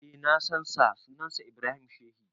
Eh na san sa, sunan shi Ibrahim Sheshi.